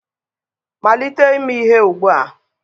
malite ime ihe ugbua!